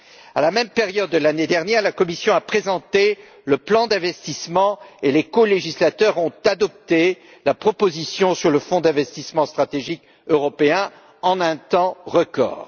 À la même période l'année dernière, la Commission a présenté le plan d'investissement et les colégislateurs ont adopté la proposition sur le Fonds européen pour les investissements stratégiques en un temps record.